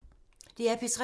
DR P3